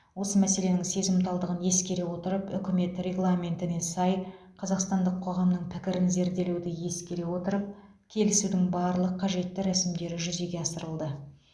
осы мәселенің сезімталдығын ескере отырып үкімет регламентіне сай қазақстандық қоғамның пікірін зерделеуді ескере отырып келісудің барлық қажетті рәсімдері жүзеге асырылды